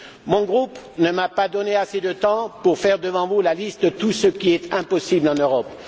Mon groupe ne m'a pas donné assez de temps pour faire devant vous la liste de tout ce qui est impossible en Europe.